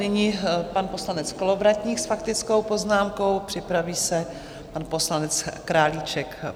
Nyní pan poslanec Kolovratník s faktickou poznámkou, připraví se pan poslanec Králíček.